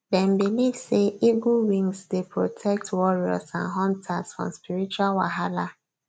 dem believe say eagle wings dey protect warriors and hunters from spiritual wahalah